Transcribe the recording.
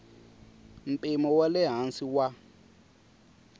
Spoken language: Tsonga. mpimo wa le hansi wa